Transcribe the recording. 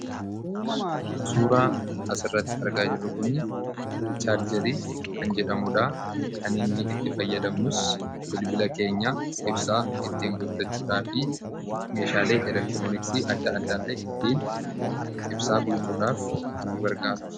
Suuraa asirratti argaa jirru kun chaarjeri kan jedhamudha. Kan inni itti fayyadamnus bilbila keenya ibsaa ittiin guuttachuudhaa fi meeshaalee elektirooniksii adda adda illee ittiin ibsaa guutuudhaaf nu gargaara.